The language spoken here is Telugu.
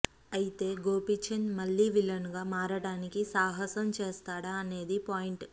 ఐతే గోపిచంద్ మళ్ళీ విలన్ గా మారడానికి సాహసం చేస్తాడా అనేదే పాయింట్